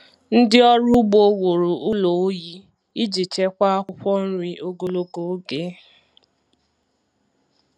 Ndị ọrụ ugbo wuru ụlọ oyi iji chekwaa akwụkwọ nri ogologo oge.